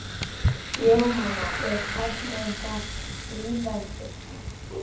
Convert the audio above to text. Jóhanna: Er tæknin eitthvað að stríða ykkur?